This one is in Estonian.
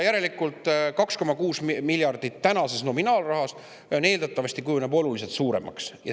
Järelikult 2,6 miljardit tänases nominaalrahas eeldatavasti kujuneb oluliselt suuremaks summaks.